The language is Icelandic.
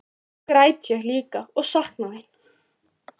Nú græt ég líka og sakna þín.